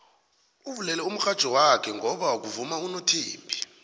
uvulele umurhatjho wakhe ngoba kuvuma unothembi